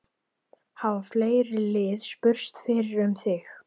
Hafa fleiri lið spurst fyrir um þig?